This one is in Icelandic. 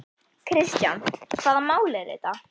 Kristján: Hvaða mál eru þetta?